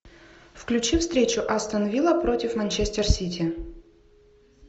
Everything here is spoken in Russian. включи встречу астон вилла против манчестер сити